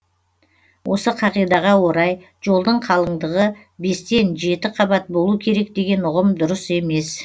осы қағидаға орай жолдың қалыңдығы бестен жеті қабат болу керек деген ұғым дұрыс емес